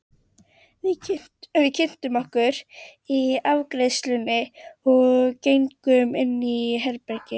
Við kynntum okkur í afgreiðslunni og gengum inn í herbergið.